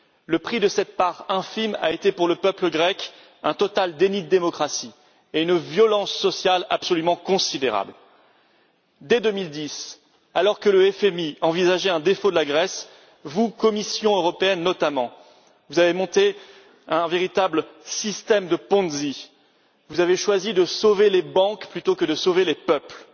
Le prix de cette part infime a été pour le peuple grec un total déni de démocratie et une violence sociale absolument considérable. Dès 2010, alors que le FMI envisageait un défaut de la Grèce, vous, Commission européenne, notamment, avez monté un véritable système de Ponzi vous avez choisi de sauver les banques plutôt que de sauver les peuples.